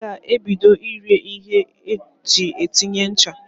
Ọ ga-ebido ire ihe eji etinye ncha.